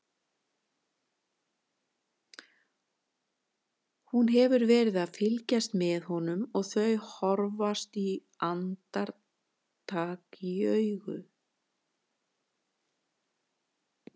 Hún hefur verið að fylgjast með honum og þau horfast andartak í augu.